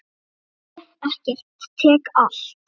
Ég gef ekkert, tek allt.